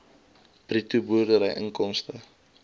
bruto boerdery inkomste